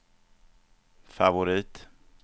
favorit